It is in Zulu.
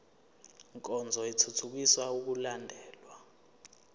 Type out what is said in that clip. nkonzo ithuthukisa ukulandelwa